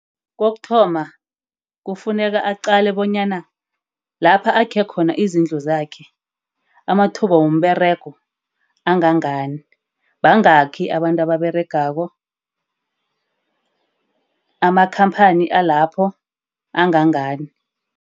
Kokuthoma, kufuneka aqale bonyana lapha akhe khona izindlu zakhe amathuba womberego angangani. Bangakhi abantu ababeregako. Amakhamphani alapho angangani.